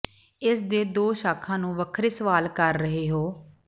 ਇਸ ਦੇ ਦੋ ਸ਼ਾਖਾ ਨੂੰ ਵੱਖਰੇ ਸਵਾਲ ਕਰ ਰਹੇ ਹੋ